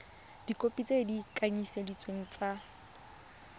dikhopi tse di kanisitsweng tsa